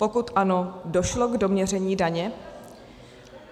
Pokud ano, došlo k doměření daně?